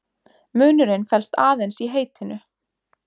Munurinn felst aðeins í heitinu.